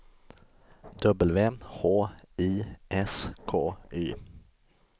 W H I S K Y